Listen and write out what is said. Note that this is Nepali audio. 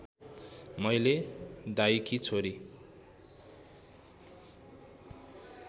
मैले दाइकी छोरी